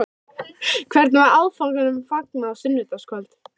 Hvernig var áfanganum fagnað á sunnudagskvöld?